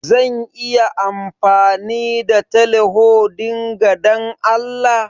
Zan iya amfani da teleho dinga Dan Allah?